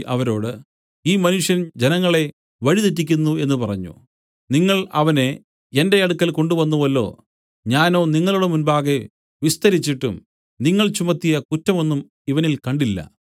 അവരോട് ഈ മനുഷ്യൻ ജനങ്ങളെ വഴി തെറ്റിക്കുന്നു എന്നു പറഞ്ഞു നിങ്ങൾ അവനെ എന്റെ അടുക്കൽ കൊണ്ടുവന്നുവല്ലോ ഞാനോ നിങ്ങളുടെ മുമ്പാകെ വിസ്തരിച്ചിട്ടും നിങ്ങൾ ചുമത്തിയ കുറ്റം ഒന്നും ഇവനിൽ കണ്ടില്ല